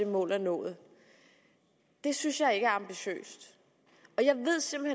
det mål er nået det synes jeg ikke er ambitiøst